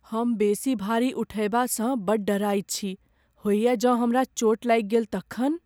हम बेसी भारी उठयबा सँ बड़ डेराइत छी। होइए जँ हमरा चोट लागि गेल तखन?